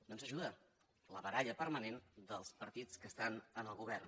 no ens ajuda la baralla permanent dels partits que estan en el govern